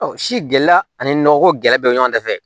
Ɔ si gɛlɛya ani nɔgɔko gɛlɛ bɛɛ bɛ ɲɔgɔn dafɛ